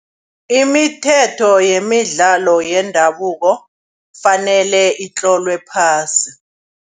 Imithetho yemidlalo yendabuko kufanele itlolwe phasi.